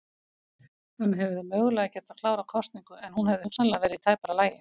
Hann hefði mögulega getað klárað kosningu en hún hefði hugsanlega verið í tæpara lagi.